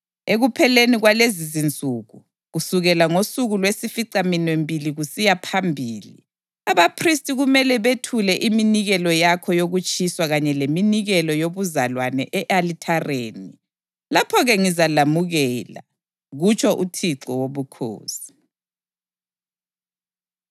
Ekupheleni kwalezizinsuku, kusukela ngosuku lwesificaminwembili kusiya phambili, abaphristi kumele bethule iminikelo yakho yokutshiswa kanye leminikelo yobuzalwane e-alithareni. Lapho-ke ngizalamukela, kutsho uThixo Wobukhosi.”